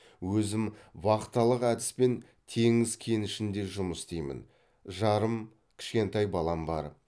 өзім вахталық әдіспен теңіз кенішінде жұмыс істеймін жарым кішкентай балам бар